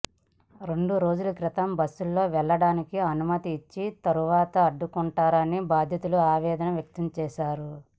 రెండు రోజుల క్రితం బస్సుల్లో వెళ్లడానికి అనుమతి ఇచ్చి తర్వాత అడ్డుకున్నారని బాధితులు ఆవేదన వ్యక్తం చేశారు